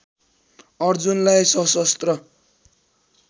अर्जुनलाई सशस्त्र